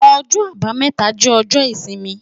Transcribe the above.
Ọjọ́-Àbámẹ́ta jẹ ọjọ isimi